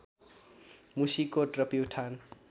मुसीकोट र प्युठान